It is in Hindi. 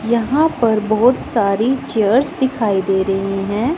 यहां पर बहुत सारी चेयर्स दिखाई दे रही हैं।